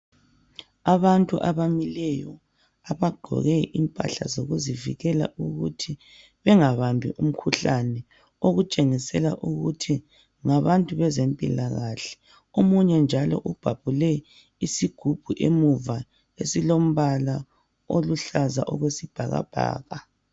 Abantu abamileyo abagqoke impahla zokuzivikela ukuthi bengabambi umkhuhlane . Okutshengisela ukuthi ngabantu bezempilakahle .Omunye njalo ubhabhule isigubhu emuva esilombala oluhlaza okwesibhakabhaka.